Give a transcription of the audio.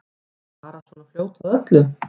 Bara svona fljót að öllu.